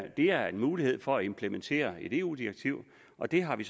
det er en mulighed for at implementere et eu direktiv og det har vi